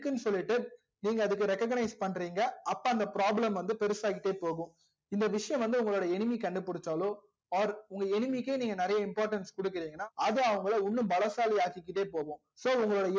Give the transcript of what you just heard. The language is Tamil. இருக்குனு சொல்லிட்டு நீங்க அதுக்கு recognize பண்றிங்க அப்போ அந்த problem வந்து பெருசா ஆகிட்டே போகும் இந்த விஷயம் வந்து உங்க enemy கண்டு புடிசாலோ or உங்க enemy கே நெறைய importance குடுகிரிங்கனா அது அவங்கல இன்னும் பலசாலி ஆகிக் கிட்டே போகும் so உங்களோட